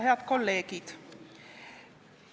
Head kolleegid!